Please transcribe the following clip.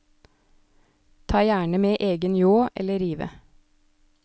Ta gjerne med egen ljå eller rive.